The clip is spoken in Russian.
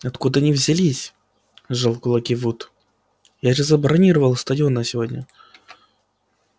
откуда они взялись сжал кулаки вуд я же забронировал стадион на сегодня